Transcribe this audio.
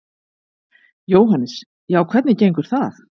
Jóhannes: Já, hvernig gengur það?